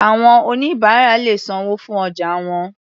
Àwọn oníbàárà lè sanwó fún ọjà wọn.